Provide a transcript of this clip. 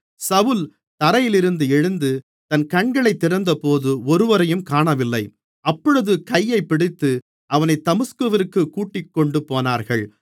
சவுல் தரையிலிருந்தெழுந்து தன் கண்களைத் திறந்தபோது ஒருவரையும் காணவில்லை அப்பொழுது கையைப் பிடித்து அவனைத் தமஸ்குவிற்குக் கூட்டிக்கொண்டுபோனார்கள்